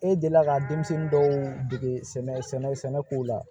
E delila ka denmisɛnnin dɔw dege sɛnɛko la